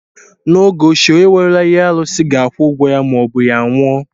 N'oge ochie, onye werela ihe arụsị ga-akwụ ụgwọ ya maọbụ ya anwụọ.